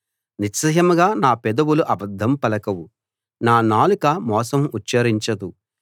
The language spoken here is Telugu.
నిశ్చయంగా నా పెదవులు అబద్ధం పలకవు నా నాలుక మోసం ఉచ్ఛరించదు